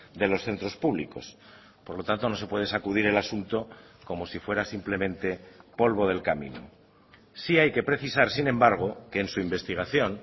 de los centros públicos por lo tanto no se puede sacudir el asunto como si fuera simplemente polvo del camino sí hay que precisar sin embargo que en su investigación